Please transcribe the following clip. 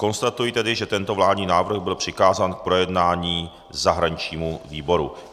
Konstatuji tedy, že tento vládní návrh byl přikázán k projednání zahraničnímu výboru.